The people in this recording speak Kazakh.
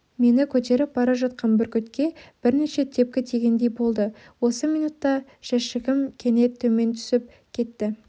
мені көтеріп бара жатқан бүркітке бірнеше тепкі тигендей болды осы минөтте жәшігім кенет төмен түсіп кетті